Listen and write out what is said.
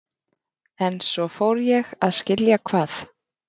En svo fór ég að skilja hvað